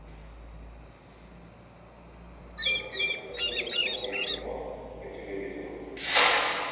хочу посмотреть новое кино по телевизору